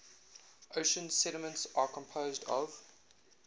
ocean sediments are composed of